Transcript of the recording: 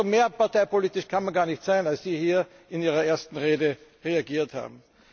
Also parteipolitischer kann man gar nicht sein, als Sie hier in Ihrer ersten Rede agiert haben.